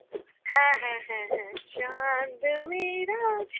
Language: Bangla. হ্যাঁ হ্যাঁ হ্যাঁ হ্যাঁ Hindi